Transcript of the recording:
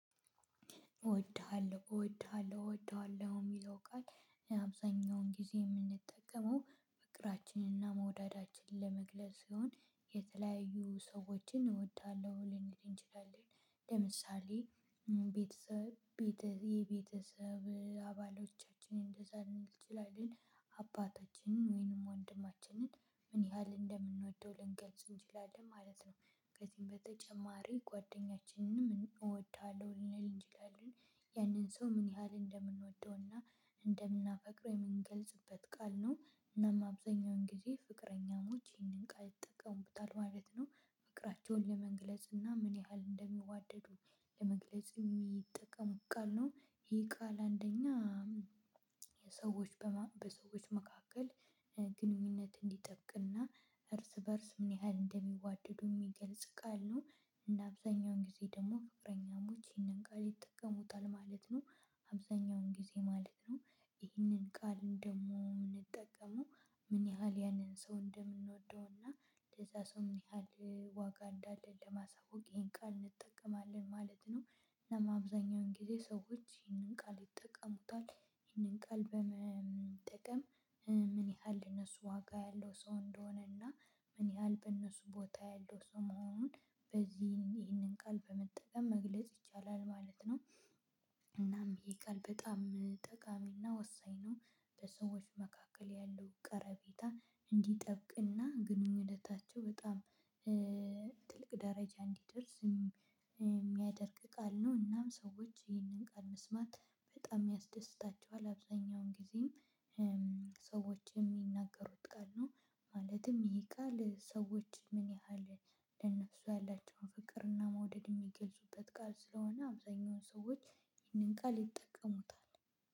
እወድሃለሁ እወድሃለሁ እወድዋለሁ የሚለው ቃል አብዛኛውን ጊዜ የምንጠቀመው ፍቅራችንና መውደዳችን ለመግለጽ ሲሆን የተለያዩ ሰዎችን እወዳለሁ ልንል እንችላለን። ለምሳሌ ቤተሰብ ቤትህ የቤተሰብ አባሎቻችን እንደዛ እንችላለን። አባታችንን ወይንም ወንድማችንን ምን ያህል እንደምንወደው ልንገልጽ እንችላለን ማለት ነው። ከዚህም በተጨማሪ ጓደኛችንንም እወዳለሁ ልንል እንችላለን። ያንን ሰው ምን ያህል እንደምንወደውና እንደምናፈቅረው የምንገልጽበት ቃል ነው። እናም አብዛኛውን ጊዜ ፍቅረኛሞች ይህንን ቃል ይጠቀምብታል ማለት ነው። ፍቅራቸውን ለመግለጽ እና ምን ያህል እንደሚዋደዱ ለመግለጽ የሚጠቀሙት ቃል ነው። ይሄ ቃል አንደኛ በሰወቺ መካከል ግንኙነት እንዲጠብቅና ርስበርስ ምንያህል እንደሚዋደዱ የምገልፅቃል ነው። እና አብዛኛውን ጊዜ ፍቅረኛሞቺ ይሄንንቃል ይጠቀሙታል። አብዛኛውን ግዘማለትነው ይህንን ቃል እንደምንጠቀሙ ምን ያህል ያንን ሰው እንደምንወደው እና ለዛ ሰው ምን ያህል ዋጋ እንዳለው ለማሳወቅ ይሄን ቃል እንጠቀማለን ማለት ነው። እና አብዛኛውን ጊዜ ሰዎች ይሄንን ቃል ይጠቀሙታል። ይሄንን ቃል ቀልብ በመጠቀም ምን ያህል እነሱ ዋጋ ያለው ሰው እንደሆነ እና ምን ያህል በእነሱ ቦታ ያለው ስሙን በዚህ ይህንን ቃል በመጠቀም መግለጽ ይቻላል ማለት ነው። እናም ይቅር በጣም ጠቃሚና ወሳኝ ነው። በሰዎች መካከል ያለው ቀረቤታ እንዲጠብቅና ግንኙነታቸው በጣም ትልቅደረጃ እንዲደርስ የምያድርግ ቃል ነው። እናምሰወች ይሄንንቃል መስማት በጣም ያስደስታቸዋል። አብዛኛውን ጊዜ ሰዎች የሚናገሩት ቃል ነው። ማለትም ይሄ ቃል ሰዎች ምን ያህል ለነሱ ያላቸውን ፍቅርና መውደድ የሚገልጹበት ቃል ስለሆነ አብዛኛውን ሰዎች ይህንን ቃል ይጠቀሙታል።